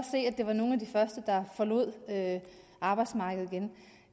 det var nogle af de første der forlod arbejdsmarkedet igen